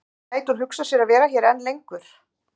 En gæti hún hugsað sér að vera hér enn lengur?